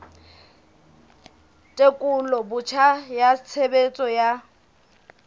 tekolo botjha ya tshebetso tsa